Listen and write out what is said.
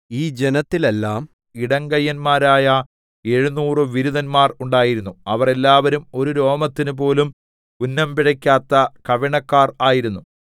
ഈ ജനത്തിലെല്ലാം ഇടങ്കയ്യന്മാരായ എഴുനൂറ് വിരുതന്മാർ ഉണ്ടായിരുന്നു അവർ എല്ലാവരും ഒരു രോമത്തിനു പോലും ഉന്നം പിഴെക്കാത്ത കവിണക്കാർ ആയിരുന്നു